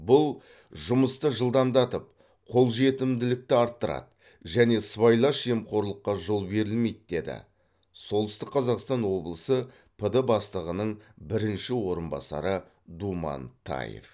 бұл жұмысты жылдамдатып қолжетімділікті арттырады және сыбайлас жемқорлыққа жол берілмейді дейді солтүстік қазақстан облысы пд бастығының бірінші орынбасары думан таев